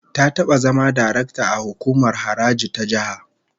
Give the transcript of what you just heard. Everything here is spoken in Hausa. Ta taba zama darakta a hukumar haraji ta jiha